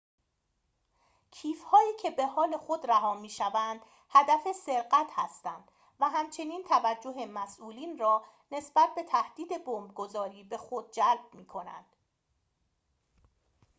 کیف هایی که به حال خود رها می‌شوند هدف سرقت هستند و همچنین توجه مسئولین را نسبت به تهدید بمب‌گذاری به خود جلب می‌کنند